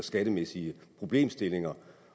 skattemæssige problemstillinger